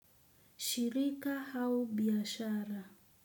Shirika au biashara.